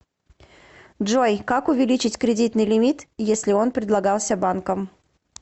джой как увеличить кредитный лимит если он предлагался банком